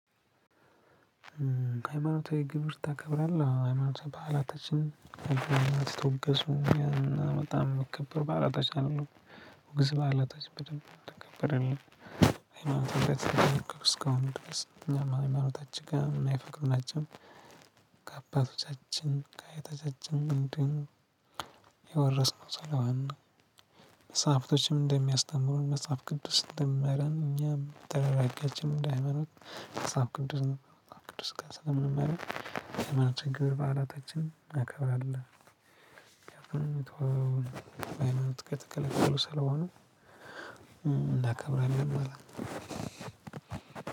ከሃይማኖታዊ ግብር ታከብራለህ? አዎ ሃይማኖታዊ በዓላቶችን የተወገዙ በጣም ሚከበሩ በዓላቶች አሉ። ወግዝ በዓላቶች በደንብ እንዲከበርልን እንደዚህ እስከሆንን ድረስ እኛም ሃይማኖታችን ጋ ማይፈቅዱ ናቸው። ከአባቶቻችን፣ ከአያቶቻችን እንዲሁም የወረስነው ሰለሆን መጽሐፍቶችም እንደሚያስተምሩን መጽሐፍ ቅዱስ እንደሚመራን እኛም ተራራጊያችን እንደ ሃይማኖት መጽሐፍ ቅዱስ ነው። መጽሐፍ ቅዱስ ጋር ስለምንመራ ያለምንም ችግር በዓላቶችን እናከብራለን። ምክንያቱም ብንተወው በሃይማኖት ከተከለከሉ ሰለሆኑ እናከብራለን ማለት ነው።